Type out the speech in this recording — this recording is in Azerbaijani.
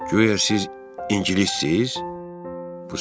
Güya siz ingilisiniz?